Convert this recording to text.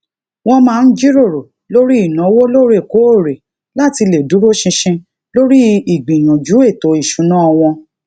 wọn máa ń jíròrò lórí ìnáwó lóorekóòrè láti lè dúró ṣinṣin lórí ígbìyànjú ètò ìṣúná wọn